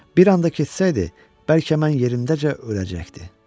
Bir anda kəsilsəydi, bəlkə mən yerimdəcə öləcəkdi.